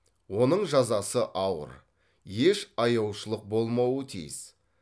оның жазасы ауыр еш аяушылық болмауы тиіс